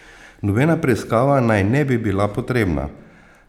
Nobena preiskava naj ne bi bila potrebna.